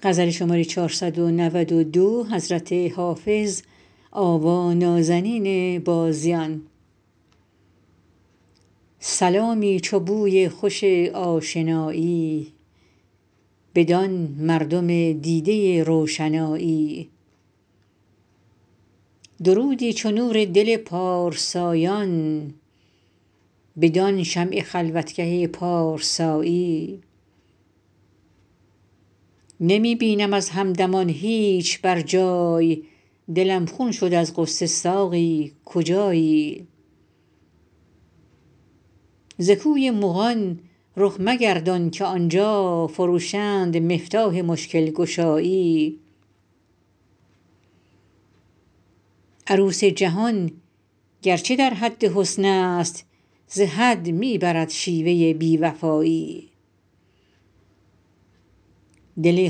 سلامی چو بوی خوش آشنایی بدان مردم دیده روشنایی درودی چو نور دل پارسایان بدان شمع خلوتگه پارسایی نمی بینم از همدمان هیچ بر جای دلم خون شد از غصه ساقی کجایی ز کوی مغان رخ مگردان که آن جا فروشند مفتاح مشکل گشایی عروس جهان گر چه در حد حسن است ز حد می برد شیوه بی وفایی دل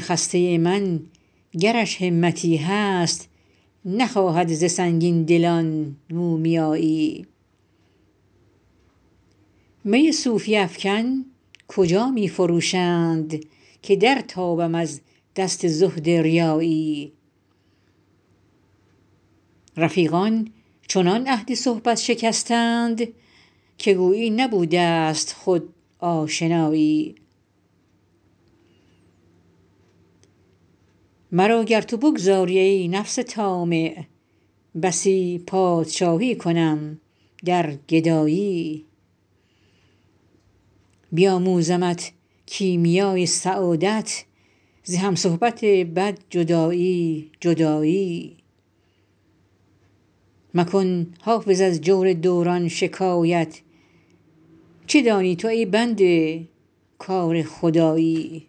خسته من گرش همتی هست نخواهد ز سنگین دلان مومیایی می صوفی افکن کجا می فروشند که در تابم از دست زهد ریایی رفیقان چنان عهد صحبت شکستند که گویی نبوده ست خود آشنایی مرا گر تو بگذاری, ای نفس طامع بسی پادشایی کنم در گدایی بیاموزمت کیمیای سعادت ز هم صحبت بد جدایی جدایی مکن حافظ از جور دوران شکایت چه دانی تو ای بنده کار خدایی